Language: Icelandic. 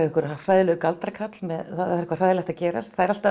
hræðilegur galdrakarl það er eitthvað hræðilegt að gerast það er alltaf